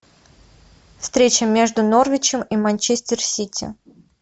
встреча между норвичем и манчестер сити